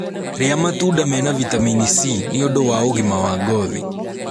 rĩa matunda mena vitamini C nĩũndũ wa ũgima wa ngothi